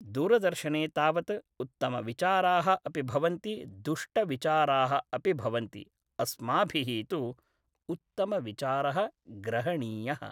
दूरदर्शने तावत् उत्तमविचाराः अपि भवन्ति दुष्टविचाराः अपि भवन्ति अस्माभिः तु उत्तमविचारः ग्रहणीयः